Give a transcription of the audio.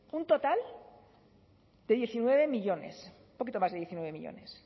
un total de diecinueve millónes un poquito más de diecinueve millónes